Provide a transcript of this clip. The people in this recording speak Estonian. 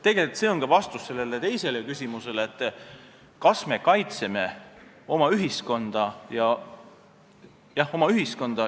Tegelikult on see ka vastus teisele küsimusele, kas me kaitseme oma ühiskonda.